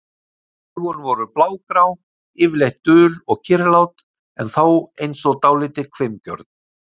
Augun voru blágrá, yfirleitt dul og kyrrlát, en þó eins og dálítið hvimgjörn.